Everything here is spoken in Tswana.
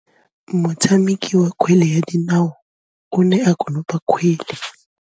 Motshameki wa kgwele ya dinaô o ne a konopa kgwele.